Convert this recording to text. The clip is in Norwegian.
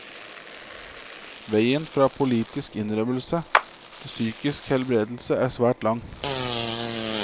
Veien fra politisk innrømmelse til psykisk helbredelse er svært lang.